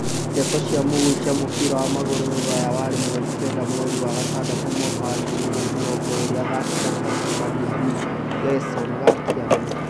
Ndeto cia mũhuhu cia mũbira wa magũrũ Rũraya waĩrĩ mweri kenda mweri wa gatandatũ mwaka wa ngiri igĩrĩ mĩrongo ĩrĩ athaki ta Fati, Van de Beek, Gerson, Ngakia, Mkhitaryan